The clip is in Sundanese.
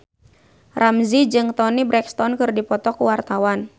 Ramzy jeung Toni Brexton keur dipoto ku wartawan